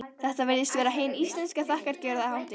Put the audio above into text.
Þetta virðist vera hin íslenska þakkargjörðarhátíð.